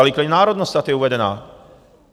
Ale i klidně národnost ať je uvedena.